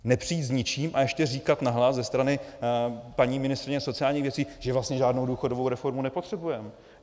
Nepřijít s ničím a ještě říkat nahlas ze strany paní ministryně sociálních věcí, že vlastně žádnou důchodovou reformu nepotřebujeme.